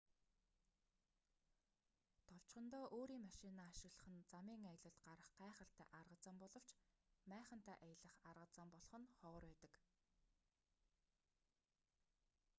товчхондоо өөрийн машинаа ашиглах нь замын аялалд гарах гайхалтай арга зам боловч майхантай аялах арга зам болох нь ховор байдаг